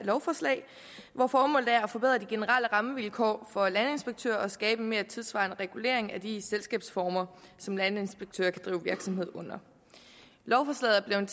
lovforslag hvor formålet er at forbedre de generelle rammevilkår for landinspektører og skabe en mere tidssvarende regulering af de selskabsformer som landinspektører kan drive virksomhed under lovforslaget er